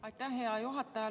Aitäh, hea juhataja!